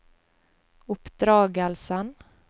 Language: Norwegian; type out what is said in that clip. oppdragelsen